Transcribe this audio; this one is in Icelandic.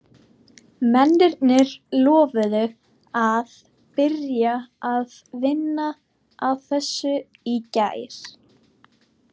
Mennirnir lofuðu að byrja að vinna að þessu í gær.